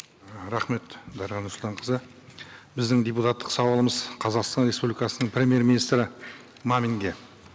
ы рахмет дариға нұрсұлтанқызы біздің депутаттық сауалымыз қазақстан республикасының премьер министрі маминге